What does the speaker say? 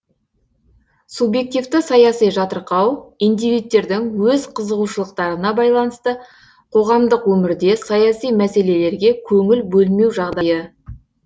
субъективті саяси жатырқау индивидтердің өз қызығушылықтарына байланысты қоғамдық өмірде саяси мәселелерге көңіл бөлмеу жағдайы